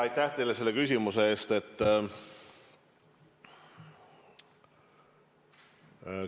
Aitäh teile selle küsimuse eest!